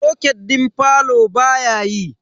Soket din falo baya yi.